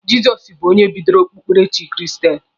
Jizọs bụ onye bidoro okpukperechi kristenịtị